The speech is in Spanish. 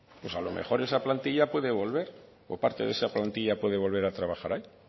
a lo mejor esa plantilla puede volver o parte de esa plantilla puede volver a trabajar ahí